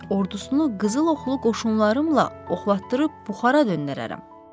Ordusunu qızıl oxlu qoşunlarımla oxlatdırıb buxara döndərərəm.